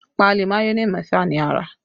Páálí mayonẹ mẹ́fà ni a rà